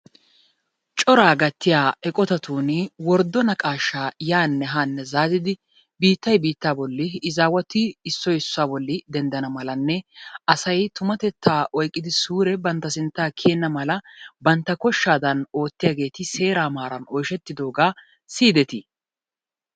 coraa gattiya eqqotattun worddo naqaashaa yaanne haanne zaazzidi biittay biittaa bolli izzaawati izzaawatu boli dendana malanne asay tummatettaa oykkidi suure banta sintaa kiyenna mala bantta koshshaa oottiyaageeti seeraa maaran oyshettidoogaa siyidettii?